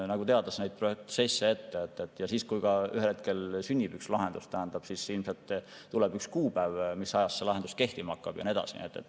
Ja teades neid protsesse ette, võib öelda, et kui ühel hetkel sünnib mingi lahendus, siis ilmselt tuleb ka üks kuupäev, mis ajast see lahendus kehtima hakkab, ja nii edasi.